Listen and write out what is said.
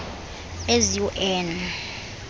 as you earn